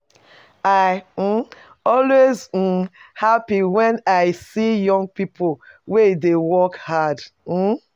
I um always um happy wen I see young people wey e dey work hard um.